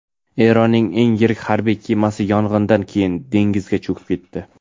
Eronning eng yirik harbiy kemasi yong‘indan keyin dengizda cho‘kib ketdi.